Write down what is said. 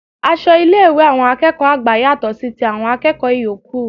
Aṣọ ilé ìwé àwọn akẹ́kọ̀ọ́ àgbà yàtò sí ti àwọn akẹ́kọ̀ọ ìyókù